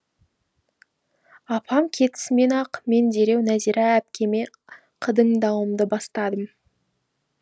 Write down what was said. апам кетісімен ақ мен дереу нәзира әпкеме қыдыңдауымды бастадым